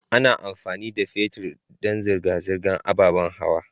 Ana amfani da fetir dan zirga-zirgar ababan hawa.